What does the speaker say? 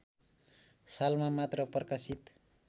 सालमा मात्र प्रकाशित